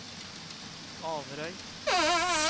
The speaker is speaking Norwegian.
Averøy